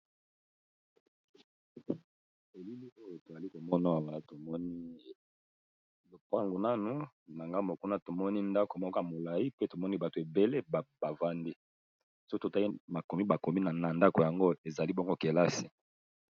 Elili oyo toali komona awa tomoni lopango naganbo ya kuna tomoni ndako moko ya molai. Pe tomoni bato ebele bavandi so totali makomi ,bakomi na ndako yango ezali bongo kelasi.